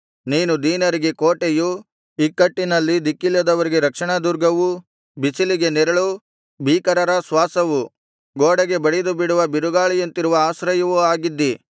ನೀನು ದೀನರಿಗೆ ಕೋಟೆಯು ಇಕ್ಕಟ್ಟಿನಲ್ಲಿ ದಿಕಿಲ್ಲದವರಿಗೆ ರಕ್ಷಣಾದುರ್ಗವೂ ಬಿಸಿಲಿಗೆ ನೆರಳೂ ಭೀಕರರ ಶ್ವಾಸವು ಗೋಡೆಗೆ ಬಡಿದುಬಿಡುವ ಬಿರುಗಾಳಿಯಂತಿರುವಾಗ ಆಶ್ರಯವೂ ಆಗಿದ್ದೀ